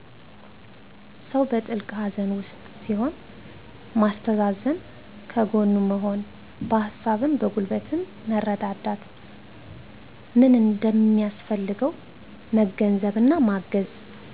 ሰው በጥልቅ ሀዘን ዉስጥ ሲሆን ማስተዛዘን ከጎኑ መሆን በሀሳብም በጉልበትም መርዳት ምን እንደሚያሰፈልገው መገንዘብ እና ማገዝ